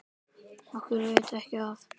Okkur veitir ekki af.